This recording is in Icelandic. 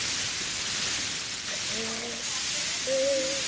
Krists burð.